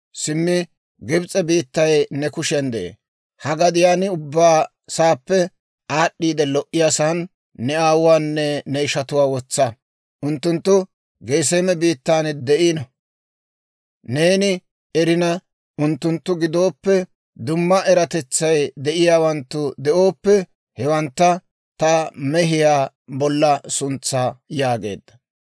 Simmi Gibs'e biittay ne kushiyaan de'ee; ha gadiyaan ubbaa saappe aad'd'iide lo"iyaasan ne aawuwaanne ne ishatuwaa wotsa; unttunttu Geseeme biittan de'iino. Neeni erina, unttunttu giddoppe dumma eratetsay de'iyaawanttu de'ooppe, hewantta ta mehiyaa bolla suntsaa» yaageedda.